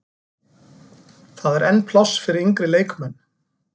Það er enn pláss fyrir yngri leikmenn.